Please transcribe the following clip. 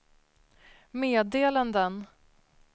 meddelanden